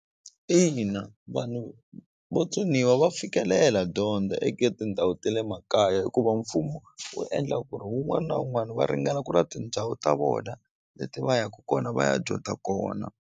Ina vanhu vo tsoniwa va fikelela dyondza eka tindhawu te le makaya hikuva mfumo wu endla ku ri wun'wani na wun'wani va ringana ku na tindhawu ta vona leti va yaku kona va ya dyondza kona.